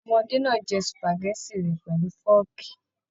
Ọmọdé náà jẹ supágẹ̀tì rẹ pẹlú fọọkí.